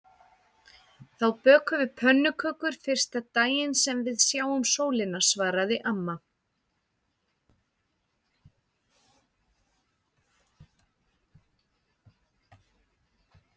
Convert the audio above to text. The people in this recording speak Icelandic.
Þá bökum við pönnukökur fyrsta daginn sem við sjáum sólina svaraði amma.